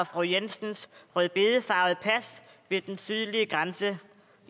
fru jensens rødbedefarvede pas ved den sydlige grænse